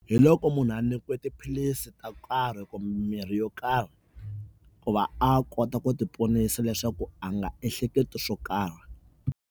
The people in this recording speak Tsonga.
Hi loko munhu a nyikiwe tiphilisi to karhi kumbe mimirhi yo karhi ku va a kota ku ti ponisa leswaku a nga ehleketi swo karhi.